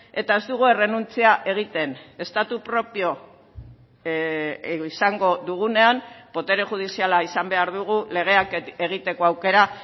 eta ez dugu errenuntzia egiten estatu propio izango dugunean botere judiziala izan behar dugu legeak egiteko aukera